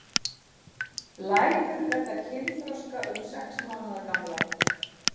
Læður verða kynþroska um sex mánaða gamlar.